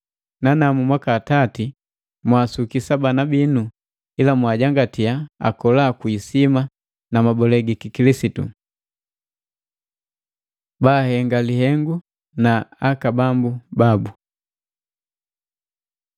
Nanamu mwaka tati mwaasukisa bana binu ila mwaajangatiya akola kwi isima na mabole gi Kikilisitu. Baahenga lihengu na aka bambu babu